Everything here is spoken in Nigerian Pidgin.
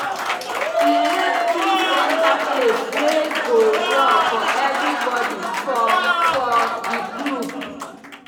e help choose center place wey go work for everybody for for the group.